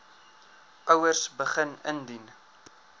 ouers begin indien